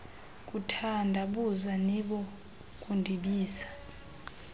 kuthandabuza nibo kundibiza